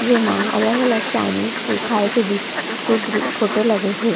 जे मा अलग -अलग चाइनीस के खाये के दी के द्री फोटो लगे हे।